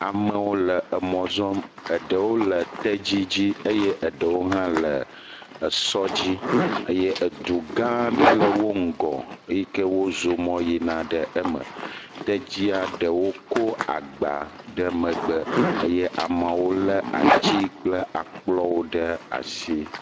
Amewo le emɔ zɔm eɖewo le tedzi dzi eye eɖewo le esɔ dzi eye du gã aɖe le wo ŋgɔ yi ke wozɔmɔ yina ɖe eme, tedzia ɖewo kɔ agba ɖe megbe eye amewo le ati kple akplɔwo ɖe asi.